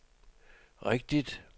rigtigt